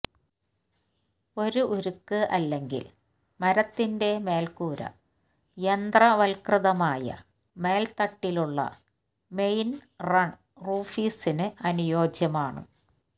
ഒരു ഉരുക്ക് അല്ലെങ്കിൽ മരത്തിന്റെ മേൽക്കൂര യന്ത്രവൽക്കൃതമായ മേൽത്തട്ടിലുള്ള മെയിൻറൺ റൂഫീസിനു അനുയോജ്യമാണ്